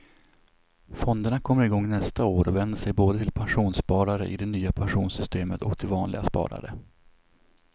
Fonderna kommer igång nästa år och vänder sig både till pensionssparare i det nya pensionssystemet och till vanliga sparare.